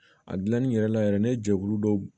A dilanni yɛrɛ la yɛrɛ ne jɛkulu dɔ